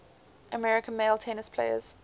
american male tennis players